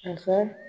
A fɔ